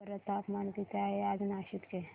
सांगा बरं तापमान किती आहे आज नाशिक चे